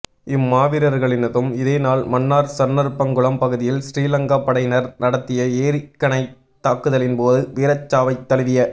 இம் மாவீரர்களினதும் இதே நாள் மன்னார் சன்னருப்பங்குளம் பகுதியில் சிறிலங்கா படையினர் நடாத்திய எறிகணைத் தாக்குதலின்போது வீரச்சாவைத் தழுவிய